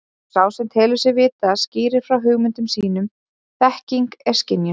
Og sá sem telur sig vita skýrir frá hugmyndum sínum þekking er skynjun.